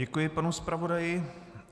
Děkuji panu zpravodaji.